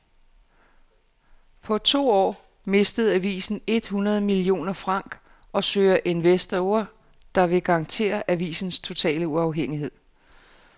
På to år mistede avisen et hundrede millioner franc og søger investorer, der vil garantere avisens totale uafhængighed.